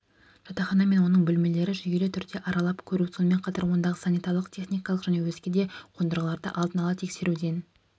жатақхана мен оның бөлмелерін жүйелі түрде аралап көру сонымен қатар ондағы санитарлық-техникалық және өзге де қондырғыларды алдын-ала тексеруден